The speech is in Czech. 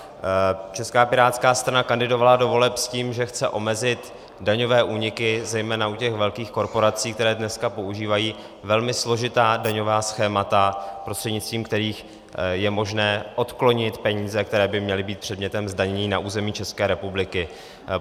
Česká pirátská strana kandidovala do voleb s tím, že chce omezit daňové úniky zejména u těch velkých korporací, které dneska používají velmi složitá daňová schémata, prostřednictvím kterých je možné odklonit peníze, které by měly být předmětem zdanění na území České republiky.